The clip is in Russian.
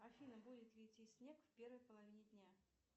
афина будет ли идти снег в первой половине дня